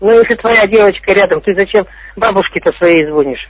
ну если твоя девочка рядом ты зачем бабушке то своей звонишь